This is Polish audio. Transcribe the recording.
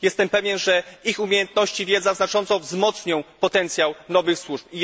Jestem pewien, że ich umiejętności i wiedza znacząco wzmocnią potencjał nowych służb.